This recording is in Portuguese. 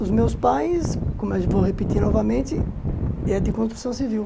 Os meus pais, como eu vou repetir novamente, é de construção civil.